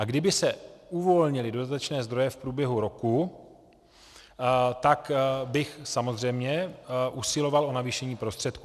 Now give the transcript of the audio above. A kdyby se uvolnily dodatečné zdroje v průběhu roku, tak bych samozřejmě usiloval o navýšení prostředků.